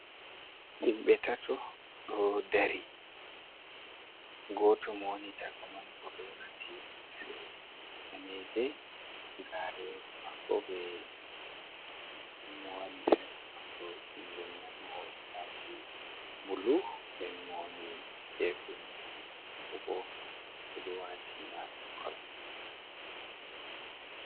Himɓe tato ɗo dari, goto mo woni caka man o ɗo wati limse daneje garewol mako be blue, nden mo woni sera mako jungo nano ɗo waati blue, nden mo woni gefe nano bo o ɗo wati mae kol